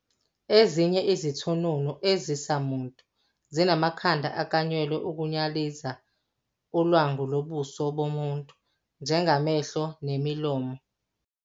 Ezinye izithununu ezisamuntu zinamakhanda aklanyelwe ukunyaliza ulwangu lobuso bomuntu njengamehlo, nemilomo.